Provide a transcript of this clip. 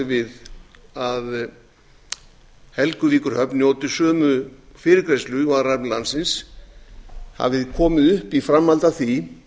við að helguvíkurhöfn njóti sömu fyrirgreiðslu og aðrar hafnir landsins hafi komið upp í framhaldi af því